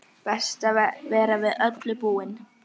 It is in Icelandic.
Best að vera við öllu búinn!